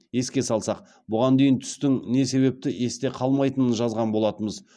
еске салсақ бұған дейін түстің не себепті есте қалмайтынын жазған болатынбыз